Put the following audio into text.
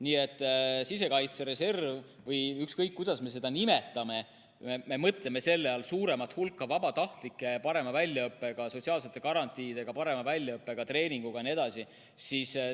Nii et sisekaitse reservi all me mõtleme suuremat hulka ja parema väljaõppega, sotsiaalsete garantiidega, parema väljaõppega, treeningutel osalenud jne vabatahtlikke.